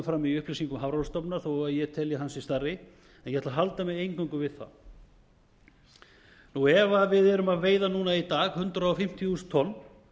fram í upplýsingum hafrannsóknastofnunar þó að ég telji að hann sé stærri en ég ætla að halda mig eingöngu við það ef við erum að veiða núna í dag hundrað fimmtíu þúsund tonn